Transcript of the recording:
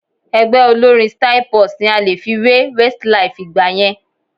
Ẹgbẹ́ olórín Styl-Plus ni a lè fi wé Westlife ìgbà yẹn